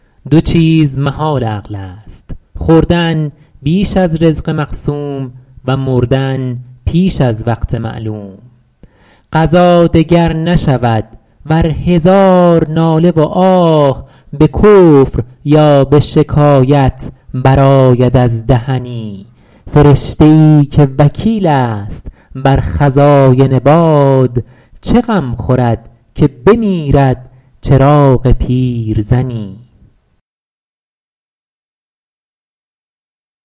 دو چیز محال عقل است خوردن بیش از رزق مقسوم و مردن پیش از وقت معلوم قضا دگر نشود ور هزار ناله و آه به کفر یا به شکایت برآید از دهنی فرشته ای که وکیل است بر خزاین باد چه غم خورد که بمیرد چراغ پیرزنی